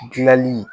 Gilali